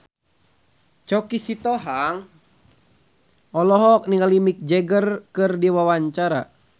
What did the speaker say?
Choky Sitohang olohok ningali Mick Jagger keur diwawancara